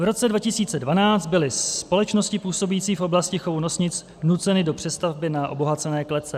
V roce 2012 byly společnosti působící v oblasti chovu nosnic nuceny do přestavby na obohacené klece.